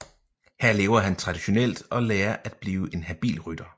Her lever han traditionelt og lærer at blive en habil rytter